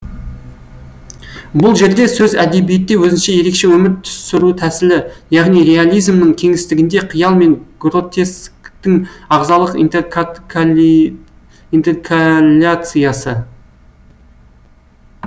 бұл жерде сөз әдебиетте өзінше ерекше өмір сүру тәсілі яғни реализмнің кеңістігінде қиял мен гротесктің ағзалық интеркаляциясы